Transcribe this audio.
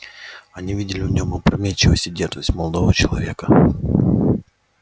они видели в нём опрометчивость и дерзость молодого человека